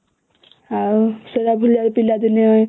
ଆଉ....ସେ ବି ପିଲାଦିନେ